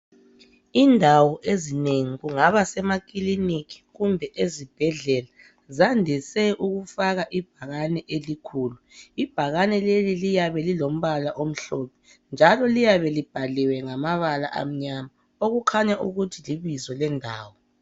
Indawo ezinengi kungaba semakiliki kumbe ezibhedlela zandise ukufaka ibhakane elikhulu, ibhakane leli liyabe lilompala omhlophe njalo liyabe libhaliwe ngamabala amnyama kuyabe kukhaya ukuthi libizo lendawo.